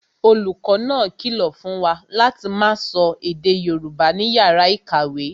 Olùkọ́ náà kìlọ̀ fún wa láti máa sọ èdè Yorùbá ní yàrá ìkàwé